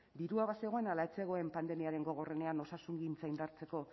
dirua bazegoen ala ez zegoen pandemiaren gogorrenean osasungintza indartzeko